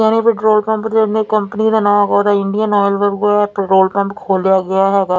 ਨਵੇਂ petrol pump ਨੇਂ ਅਪਣੀ ਕੰਪਨੀ ਦਾ ਨਾਂ ਇੰਡੀਅਨ ਆਇਲ ਪੈਟਰੋਲ ਪੰਪ ਖੋਲਿਆ ਗਿਆ ਹੈਗਾ।